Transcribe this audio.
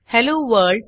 hello world